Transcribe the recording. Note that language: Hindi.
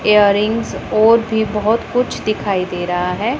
इयररिंग्स और भी बहोत कुछ दिखाई दे रहा है।